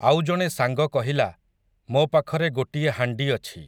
ଆଉ ଜଣେ ସାଙ୍ଗ କହିଲା, ମୋ ପାଖରେ ଗୋଟିଏ ହାଣ୍ଡି ଅଛି ।